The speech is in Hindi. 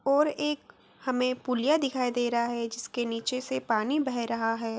और एक हमे एक पुलिया दिखाई दे रहा है जिसके नीचे से पानी बह रहा है।